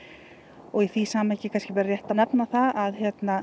og í því samhengi er kannski rétt að nefna það að